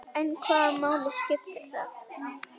En hvaða máli skiptir það?